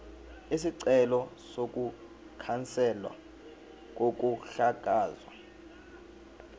isicelo sokukhanselwa kokuhlakazwa